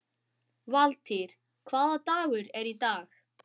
Valtýr, hvaða dagur er í dag?